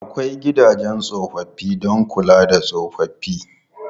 Akwai gidajen tsofaffi don kula da tsofaffi.